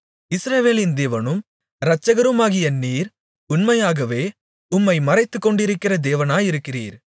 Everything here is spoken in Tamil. இஸ்ரவேலின் தேவனும் இரட்சகருமாகிய நீர் உண்மையாகவே உம்மை மறைத்துக்கொண்டிருக்கிற தேவனாயிருக்கிறீர்